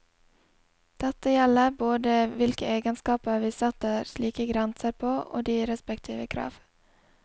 Dette gjelder både hvilke egenskaper vi setter slike grenser på, og de respektive krav.